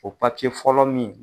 O fɔlɔ min